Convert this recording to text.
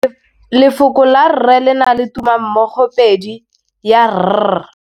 Lefoko la rre le na le tumammogôpedi ya, r.